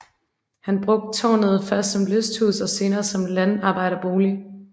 Han brugte tårnet først som lysthus og senere som landarbejderbolig